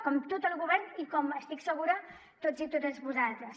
com tot el govern i com n’estic segura tots i totes vosaltres